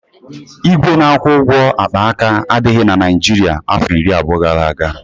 Igwe na-akwụ ụgwọ akpaaka adịghị na Naịjirịa afọ iri abụọ gara aga